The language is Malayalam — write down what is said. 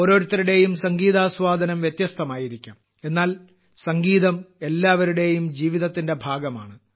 ഓരോരുത്തരുടെയും സംഗീതാസ്വാദനം വ്യത്യസ്തമായിരിക്കാം എന്നാൽ സംഗീതം എല്ലാവരുടെയും ജീവിതത്തിന്റെ ഭാഗമാണ്